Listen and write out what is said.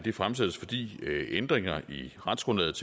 er fremsat fordi ændringer i retsgrundlaget